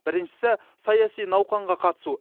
біріншісі саяси науқанға қатысу